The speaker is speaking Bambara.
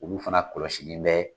Olu fana kɔlɔsilen bɛ